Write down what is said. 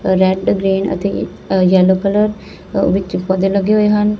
Red green ਅਤੇ yellow colour ਵਿੱਚ ਪੌਧੇ ਲੱਗੇ ਹੋਏ ਹਨ।